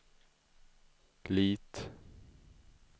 Lit